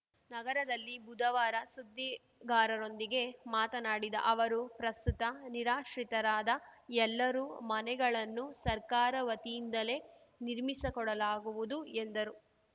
ನಗರದಲ್ಲಿ ಬುಧವಾರ ಸುದ್ದಿಗಾರರೊಂದಿಗೆ ಮಾತನಾಡಿದ ಅವರು ಪ್ರಸ್ತುತ ನಿರಾಶ್ರಿತರಾದ ಎಲ್ಲರೂ ಮನೆಗಳನ್ನು ಸರ್ಕಾರ ವತಿಯಿಂದಲೇ ನಿರ್ಮಿಸಕೊಡಲಾಗುವುದು ಎಂದರು